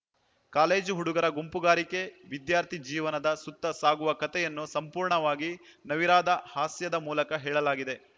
college ಹುಡುಗರ ಗುಂಪುಗಾರಿಕೆ ವಿದ್ಯಾರ್ಥಿ ಜೀವನದ ಸುತ್ತ ಸಾಗುವ ಕಥೆಯನ್ನು ಸಂಪೂರ್ಣವಾಗಿ ನವಿರಾದ ಹಾಸ್ಯದ ಮೂಲಕ ಹೇಳಲಾಗಿದೆ